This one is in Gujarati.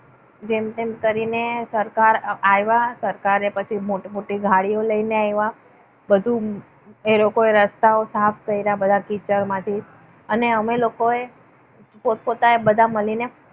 જેમ તેમ કરીને સરકાર આવ્યા. સરકાર પછી મોટી મોટી ગાડીઓ લઈને આવે. બધું એ લોકોએ રસ્તાઓ સાફ કર્યા બધા કિચડમાંથી. અને અમે લોકોએ પોતપોતાય બધાએ મળીને